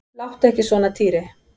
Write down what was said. Láttu ekki svona Týri.